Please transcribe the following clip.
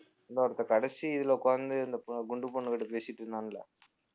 இன்னொருத்தன் கடைசி இதுல உட்கார்ந்து இந்த பொ~ குண்டு பொண்ணுகிட்ட பேசிட்டு இருந்தான்ல